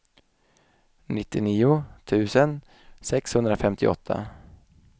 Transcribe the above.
nittionio tusen sexhundrafemtioåtta